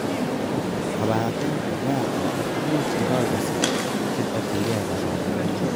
Kobaten, ibwat ele muche igoi kosik che tokyinigei kororonindo.